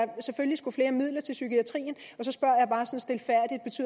selvfølgelig skulle flere midler til psykiatrien